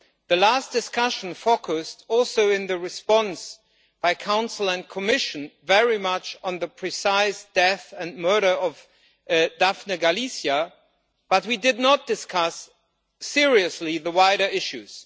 The last discussion focused, also in the response by the Council and the Commission, very much on the precise death and murder of Daphne Caruana Galizia, but we did not discuss seriously the wider issues.